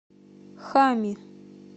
хами